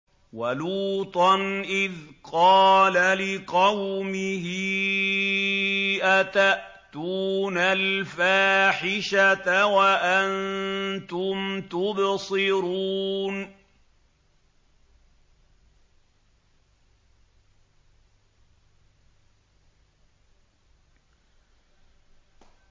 وَلُوطًا إِذْ قَالَ لِقَوْمِهِ أَتَأْتُونَ الْفَاحِشَةَ وَأَنتُمْ تُبْصِرُونَ